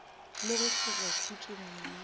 le go hloka khutšo moyeng